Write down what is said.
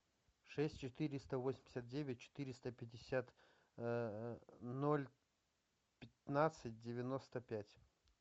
шесть четыреста восемьдесят девять четыреста пятьдесят ноль пятнадцать девяносто пять